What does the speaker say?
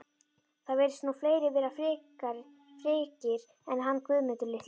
Það virðast nú fleiri vera frekir en hann Guðmundur litli